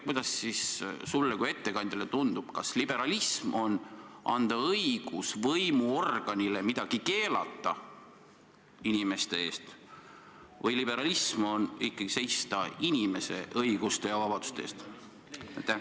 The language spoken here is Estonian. Kuidas sulle kui ettekandjale tundub, kas liberalism on see, kui antakse võimuorganile õigus midagi inimestele keelata, või on liberalism see, kui ikkagi seistakse inimeste õiguste ja vabaduste eest?